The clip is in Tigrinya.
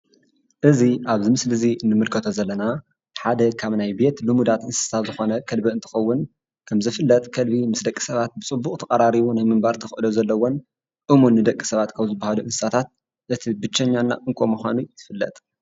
እዚ ኣብዚ ምስሊ እዙይ ንምልከቶ ዘለና ሓደ ካብ ናይ ቤት ልሙዳት እንስሳ ዝኾነ ከልቢ እንትኸውን ከምዝፍለጥ ከልቢ ምስ ደቂ ሰባት ብፅቡቕ ተቐራሪቡ ናይ ምንባር ተኽእሎ ዘለዎን እሙን ንደቂ ሰባት ካብ ዝበሃሉ እንስሳታት እቲ ብቸኛ እና እንኮ ምዃኑ ይፍለጥ።